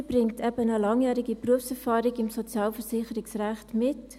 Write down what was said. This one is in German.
Sie bringt eben eine langjährige Berufserfahrung im Sozialversicherungsrecht mit.